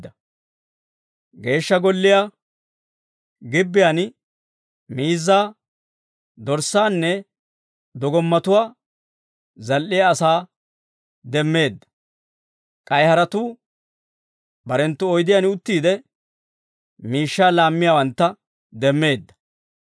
Geeshsha Golliyaa gibbiyaan miizzaa, dorssaanne dogommatuwaa zal"iyaa asaa demmeedda; k'ay haratuu barenttu oydiyaan uttiide, miishshaa laammiyaawantta demmeedda.